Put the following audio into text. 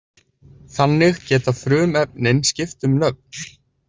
Þannig geta frumefnin skipt um nöfn.